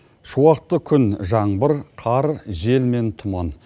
шуақты күн жаңбыр қар жел мен тұман